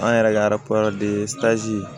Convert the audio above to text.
An yɛrɛ ka